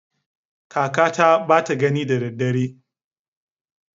Kakata bata gani da daddare.